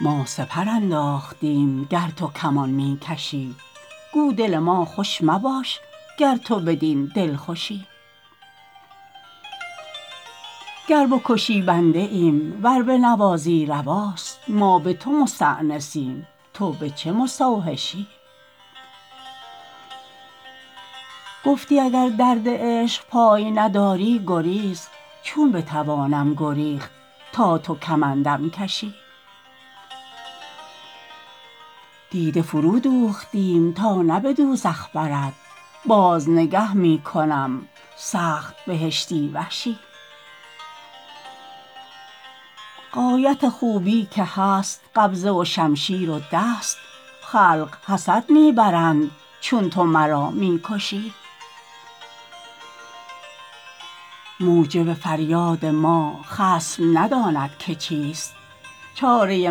ما سپر انداختیم گر تو کمان می کشی گو دل ما خوش مباش گر تو بدین دلخوشی گر بکشی بنده ایم ور بنوازی رواست ما به تو مستأنسیم تو به چه مستوحشی گفتی اگر درد عشق پای نداری گریز چون بتوانم گریخت تا تو کمندم کشی دیده فرودوختیم تا نه به دوزخ برد باز نگه می کنم سخت بهشتی وشی غایت خوبی که هست قبضه و شمشیر و دست خلق حسد می برند چون تو مرا می کشی موجب فریاد ما خصم نداند که چیست چاره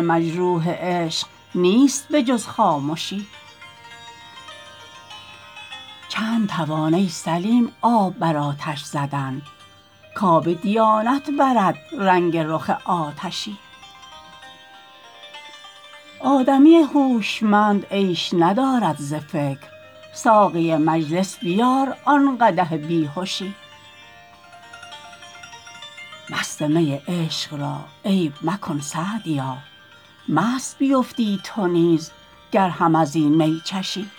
مجروح عشق نیست به جز خامشی چند توان ای سلیم آب بر آتش زدن کآب دیانت برد رنگ رخ آتشی آدمی هوشمند عیش ندارد ز فکر ساقی مجلس بیار آن قدح بی هشی مست می عشق را عیب مکن سعدیا مست بیفتی تو نیز گر هم از این می چشی